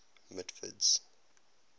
mitford's